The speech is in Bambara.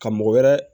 Ka mɔgɔ wɛrɛ